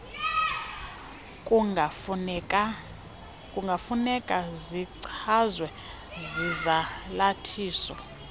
kungafuneka zichazwe zizalathisi